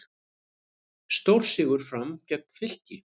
Stórsigur Fram gegn Fylki